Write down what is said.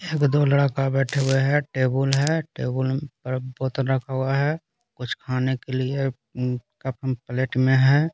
एक दो लड़का बैठे हुए है टेबल है टेबल पर बोतल रखा हुआ है कुछ खाने के लिए कपन प्लेट में है।